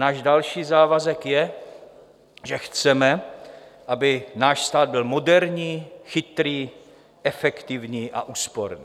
Náš další závazek je, že chceme, aby náš stát byl moderní, chytrý, efektivní a úsporný.